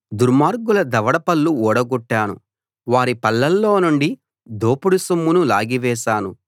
దుర్మార్గుల దవడ పళ్ళు ఊడగొట్టాను వారి పళ్లలో నుండి దోపుడు సొమ్మును లాగివేశాను